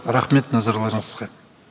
рахмет назарларыңызға